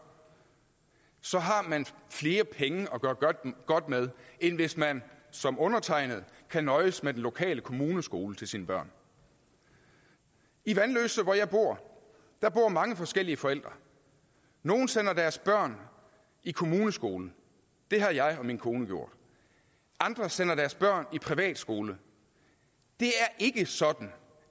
så har man flere penge at gøre godt med end hvis man som undertegnede kan nøjes med den lokale kommuneskole til sine børn i vanløse hvor jeg bor bor mange forskellige forældre nogle sender deres børn i kommuneskole det har jeg og min kone gjort andre sender deres børn i privatskole det er ikke sådan